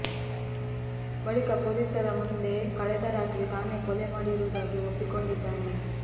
ಬಳಿಕ ಪೊಲೀಸರ ಮುಂದೆ ಕಳೆದ ರಾತ್ರಿ ತಾನೆ ಕೊಲೆ ಮಾಡಿರುವುದಾಗಿ ಒಪ್ಪಿಕೊಂಡಿದ್ದಾನೆ